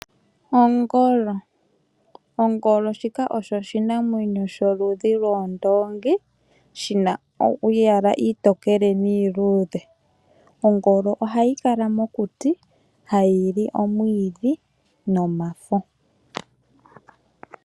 Ongolo, ongolo osho oshinamwenyo sholudhi lwoondoongi, shina omayala omatokele nomaluudhe. Ongolo ohayi kala mokuti, hayi li omwiidhi nomafo.